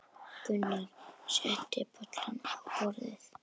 Gunnar setti bollana á borðið.